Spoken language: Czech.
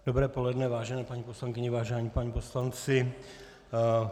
Dobré poledne, vážené paní poslankyně, vážení páni poslanci.